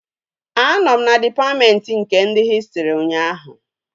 Anọ m na dịpatmentị nke ndị hịstrị ụnyaahụ